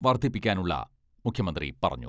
വർധിപ്പിക്കാനുള്ള മുഖ്യമന്ത്രി പറഞ്ഞു.